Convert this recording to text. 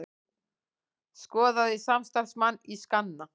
Skoðaði samstarfsmann í skanna